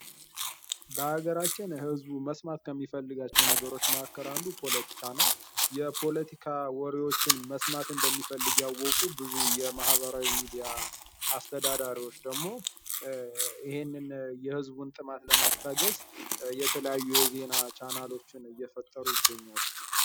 በሀገራችን ህዝቡ መስማት ከሚፈልጋቸው ነገሮች መካከል አንዱ ፖለቲካ ነው የፖለቲካ ወሬዎችን መስማት እንደሚፈልግ ያወቁ ብዙ የማህበራዊ ሚዲያ አስተዳዳሪዎች ደግሞ ይህንን የህዝቡን ጥማት ለማስታገስ የተለያዩ የዜና ቻናሎችን እየፈጠሩ ይገኛሉ።